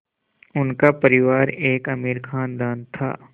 उनका परिवार एक अमीर ख़ानदान था